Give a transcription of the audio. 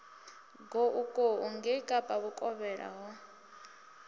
goukou ngei kapa vhukovhela ho